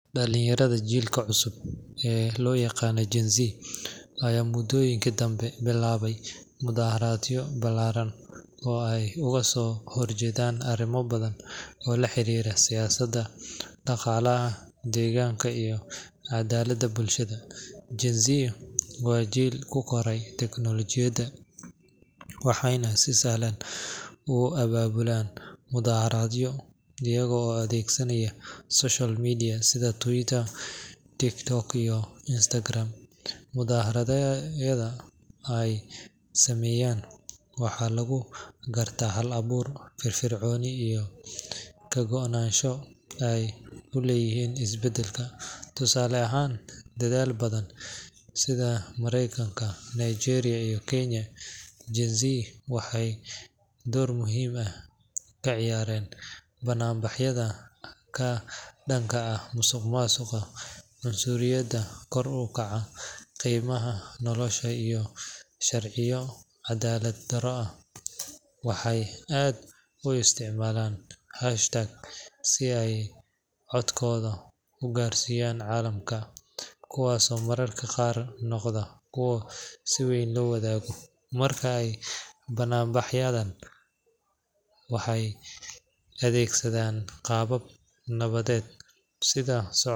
Dhallinyarada jiilka cusub ee loo yaqaan Gen-Z ayaa muddooyinkii dambe bilaabay mudaharaadyo ballaaran oo ay uga soo horjeedaan arrimo badan oo la xiriira siyaasadda, dhaqaalaha, deegaanka iyo cadaaladda bulshada. Gen-Z waa jiil ku koray teknolojiyadda, waxayna si sahlan u abaabulaan mudaharaadyo iyagoo adeegsanaya social media sida Twitter, TikTok, iyo Instagram. Mudaharaadyada ay sameeyaan waxa lagu gartaa hal abuur, firfircooni iyo ka go'naansho ay u leeyihiin isbeddelka. Tusaale ahaan, dalal badan sida Maraykanka, Nigeria iyo Kenya, Gen-Z waxay door muhiim ah ka ciyaareen bannaanbaxyada ka dhanka ah musuqmaasuqa, cunsuriyadda, kor u kaca qiimaha nolosha iyo sharciyo cadaalad darro ah. Waxay aad u isticmaalaan hashtags si ay codkooda u gaarsiiyaan caalamka, kuwaasoo mararka qaar noqda kuwo si weyn loo wadaago. Marka ay bannaanbaxayaan, waxay adeegsadaan qaabab nabadeed sida.